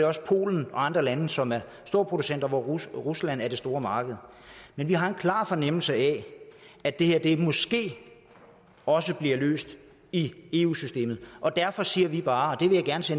også polen og andre lande som er storproducenter og hvor rusland er det store marked men vi har en klar fornemmelse af at det her måske også bliver løst i eu systemet derfor siger vi bare og